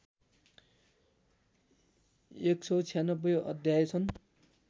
१९६ अध्याय छन्